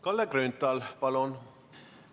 Kalle Grünthal, palun!